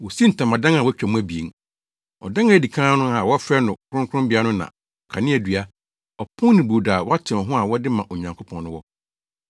Wosii ntamadan a wɔatwa mu abien. Ɔdan a edi kan no a wɔfrɛ no Kronkronbea no na kaneadua, ɔpon ne brodo a wɔatew ho a wɔde ma Onyankopɔn no wɔ.